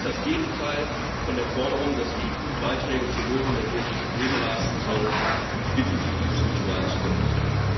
Es ist das Gegenteil von der Forderung, dass die EU Beiträge zur Lösung der großen Probleme leisten soll, und ich bitte Sie, dieses Ritual zu beenden.